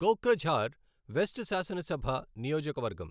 Kokrajhar west శాసనసభ నియోజకవర్గం